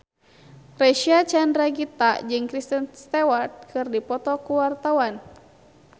Reysa Chandragitta jeung Kristen Stewart keur dipoto ku wartawan